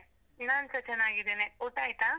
ನಾನ್ಸ ಚನ್ನಾಗಿದ್ದೇನೆ, ಊಟ ಆಯ್ತಾ?